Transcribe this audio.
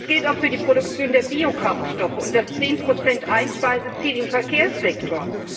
Das gilt auch für die Produktion der Biokraftstoffe und das 10 Einspeiseziel im Verkehrssektor.